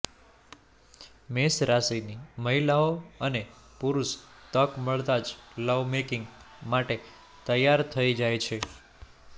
મેષ રાશિની મહિલાંઓ અને પુરુષ તક મળતા જ લવમેકિંગ માટે તૈયાર થઇ જાય છે